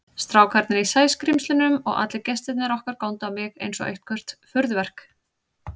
Strákarnir í Sæskrímslunum og allir gestirnir okkar góndu á mig einsog eitthvert furðuverk.